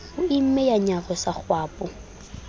o imme ya nyarosa kgwapo